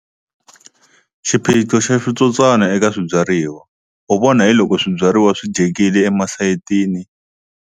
Xiphiqo xa switsotswana eka swibyariwa u vona hi loko swibyariwa swi dyekile emasayitini.